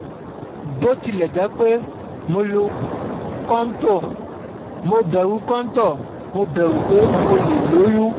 bó tilẹ̀ jẹ́ pé mo lo kóntóò, mo bẹ̀rù kóntóò, mo bẹ̀rù pé mo lè lóyún